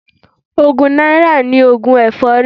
Ogún náírà ni oògùn èfọ́rí.